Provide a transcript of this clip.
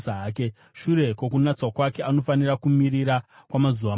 Shure kwokunatswa kwake, anofanira kumirira kwamazuva manomwe.